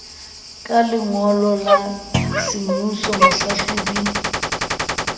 ka lengolo la semmuso mohlahlobi